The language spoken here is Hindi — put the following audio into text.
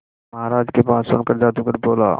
महाराज की बात सुनकर जादूगर बोला